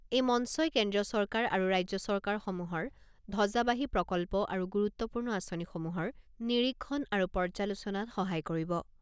এই মঞ্চই কেন্দ্ৰীয় চৰকাৰ আৰু ৰাজ্য চৰকাৰসমূহৰ ধজ্জাবাহী প্ৰকল্প আৰু গুৰুত্বপূৰ্ণ আঁচনিসমূহৰ নিৰীক্ষণ আৰু পৰ্যালোচনাত সহায় কৰিব